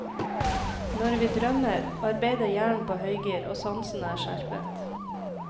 Når vi drømmer, arbeider hjernen på høygir, og sansene er skjerpet.